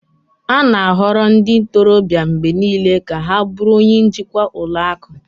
a na-ahọrọ ndị ntorobịa mgbe niile ka ha bụrụ onye njikwa ụlọ akụ